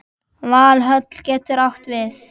Valhöll getur átt við